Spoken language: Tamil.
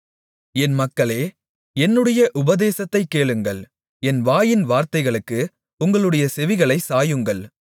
என் மக்களே என்னுடைய உபதேசத்தைக் கேளுங்கள் என் வாயின் வார்த்தைகளுக்கு உங்களுடைய செவிகளைச் சாயுங்கள்